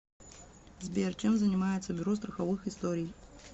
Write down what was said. сбер чем занимается бюро страховых историй